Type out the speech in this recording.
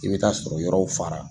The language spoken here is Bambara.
I bɛ taa sɔrɔ yɔrɔw fara.